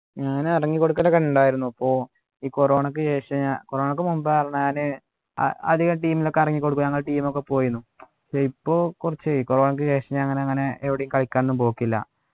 ഞാന് ഇറങ്ങിക്കൊടുക്കലൊക്കെ ഉണ്ടായിരുന്നു പ്പോ ഈ corona ക്കു ശേഷം ഞാ corona ക്കു മുമ്പ് ആർന്നു ഞാന് ആഹ് അധികം team ലൊക്കെ ഇറങ്ങിക്കൊടുക്ക നമ്മളെ team ഒക്കെ പോയിന്നു ഇപ്പൊ കുറച്ചു ഇപ്പൊ corona ക്കു ശേഷം ഞാൻ അങ്ങനെ അങ്ങനെ എവിടേം കളിക്കാനൊന്നും പോക്കില്ല